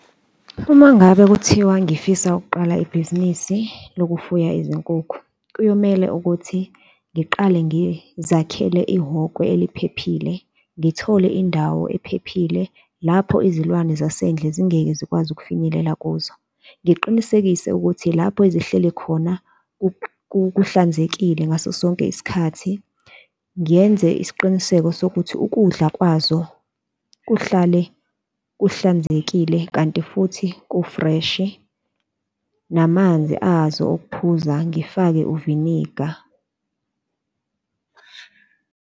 Uma ngabe kuthiwa ngifisa ukuqala ibhizinisi lokufuya izinkukhu, kuyomele ukuthi ngiqale ngizakhele ihhokwe eliphephile, ngithole indawo ephephile lapho izilwane zasendle zingeke zikwazi ukufinyelela kuzo. Ngiqinisekise ukuthi lapho ezihleli khona kuhlanzekile ngaso sonke isikhathi, ngiyenze isiqiniseko sokuthi ukudla kwazo kuhlale kuhlanzekile, kanti futhi kufreshi namanzi azo okuphuza ngifake uviniga.